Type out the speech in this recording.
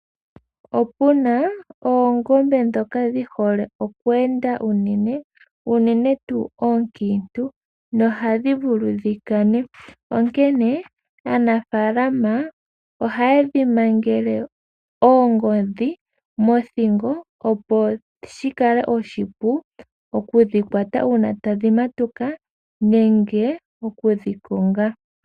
Opuna oongombe ndhoka dhi hole oku enda unene, unene tuu onkiintu nohadhi vulu dhi kane onkene aanafalama ohaye dhi mangele oongodhi mothingo opo shi kale oshipu okudhi kwata uuna tadhi matuka nenge okudhi konga.